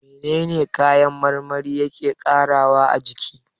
Menene kayan marmari yake ƙarawa a jiki?